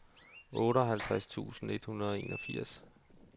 otteoghalvtreds tusind et hundrede og enogfirs